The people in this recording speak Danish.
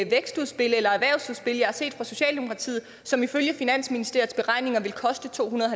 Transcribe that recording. vækstudspil eller erhvervsudspil jeg har set fra socialdemokratiet som ifølge finansministeriets beregninger vil koste to hundrede